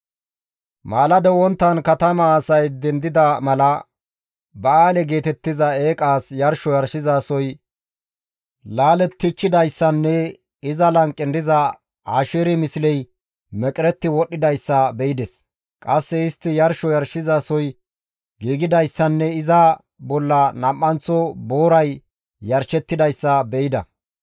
Maalado wonttan katamaa asay dendida mala Ba7aale geetettiza eeqas yarsho yarshizasoy laalettichchidayssanne iza lanqen diza Asheeri misley meqeretti wodhdhidayssa be7ides; qasse istti yarsho yarshizasoy giigidayssanne iza bolla nam7anththo booray yarshettidayssa beyda.